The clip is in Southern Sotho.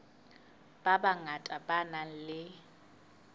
ba bangata ba nang le